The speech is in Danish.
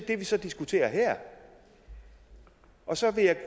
det vi så diskuterer her og så